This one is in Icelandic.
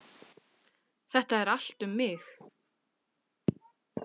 Þetta er allt um mig!